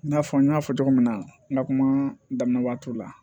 I n'a fɔ n y'a fɔ cogo min na n ka kuma daminɛ waati la